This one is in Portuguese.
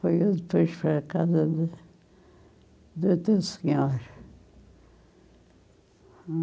Foi depois a casa do do outro senhor.